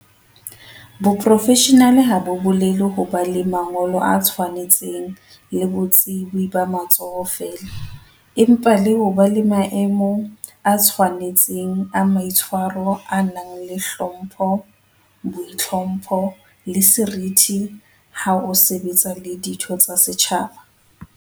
Boprofeshenale ha bo bolele ho ba le mangolo a tshwanetseng le botsebi ba matsoho feela, empa le ho ba le maemo a tshwane tseng a maitshwaro a nang le hlompho, boitlhompho, le seriti ha o sebetsa le ditho tsa setjhaba.